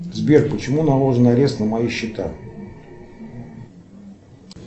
сбер почему наложен арест на мои счета